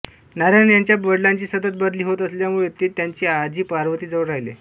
नारायण यांच्या वडिलांची सतत बदली होत असल्यामुळे ते त्यांची आजी पार्वती जवळ राहिले